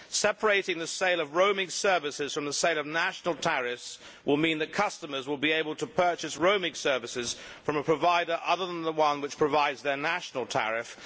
Separating the sale of roaming services from the sale of national tariffs will mean that customers will be able to purchase roaming services from a provider other than the one which provides their national tariff.